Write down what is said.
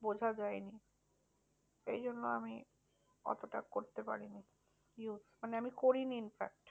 বোঝা যায়নি। সেই জন্য আমি অতটা করতে পারিনি। মানে আমি করিনি infact.